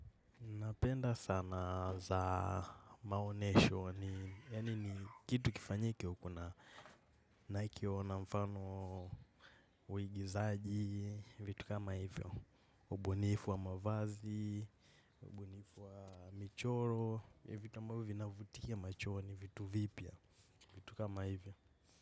Napenda sanaa za maonesho ni kitu kifanyike uko na naikiona mfano uigizaji, vitu kama hivyo, ubunifu wa mavazi, ubunifu wa michoro, vitu kama hivyo na vutia machoni vitu vipia, vitu kama hivyo.